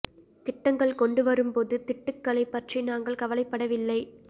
திட்டங்கள் கொண்டு வரும் போது திட்டுக்களை பற்றி நாங்கள் கவலைப்படவில்லை